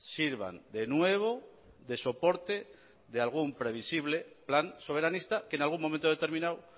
sirvan de nuevo de soporte de algún previsible plan soberanista que en algún momento determinado